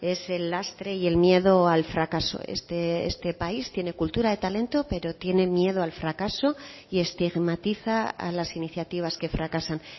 es el lastre y el miedo al fracaso este país tiene cultura de talento pero tiene miedo al fracaso y estigmatiza a las iniciativas que fracasan